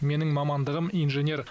менің мамандығым инженер